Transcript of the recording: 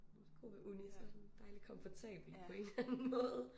Det det gode ved uni så sådan dejlig komfortabelt på en eller anden måde